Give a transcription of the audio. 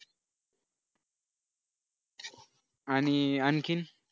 आणि आणखीन